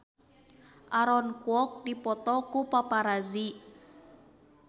Aaron Kwok dipoto ku paparazi